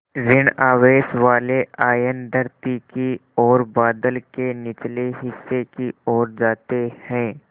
ॠण आवेश वाले आयन धरती की ओर बादल के निचले हिस्से की ओर जाते हैं